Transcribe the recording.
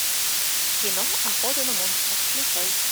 кино охота на монстров включай